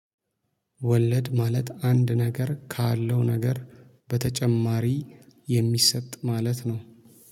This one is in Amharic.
ወለድ ማለት አንድ ነገር ካለው ነገር በተጨማሪ የሚሰጥ ማለት ነው